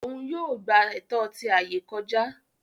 Òún yóò gbà ẹtọ ti ayé kọjá